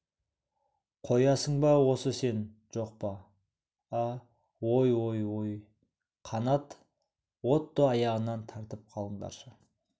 қоясың ба осы сен жоқ па а ой ой ой қанат отто аяғынан тартып қалыңдаршы